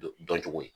Dɔn cogo ye